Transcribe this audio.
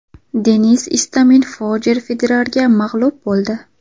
Denis Istomin Rojer Federerga mag‘lub bo‘ldi.